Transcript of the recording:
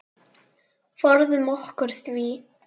Forðum okkur því.